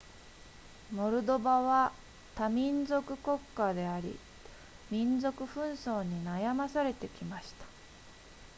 モルドバは多民族国家であり民族紛争に悩まされてきました